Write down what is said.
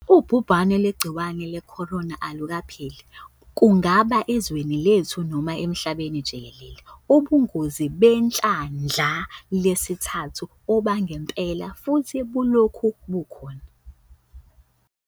Ubhubhane lwegciwane leCorona alukapheli, kungaba ezweni lethu noma emhlabeni jikelele. Ubungozi behlandla lesithathu obangempela futhi bulokhu bukhona.